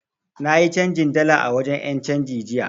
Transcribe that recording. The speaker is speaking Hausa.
Na yi canjin dala a wajen 'yancanji jiya.